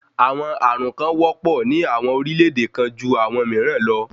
Àwọn ààrùn kàn wọ́pọ̀ ní àwọn orílẹ̀-èdè kan ju àwọn mìíràn lọ.